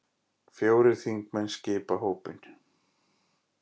Fjórir þingmenn skipa hópinn.